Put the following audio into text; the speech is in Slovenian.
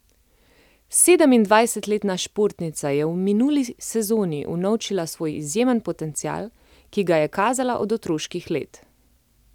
Sedemindvajsetletna športnica je v minuli sezoni unovčila svoj izjemen potencial, ki ga je kazala od otroških let.